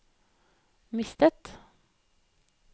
mistet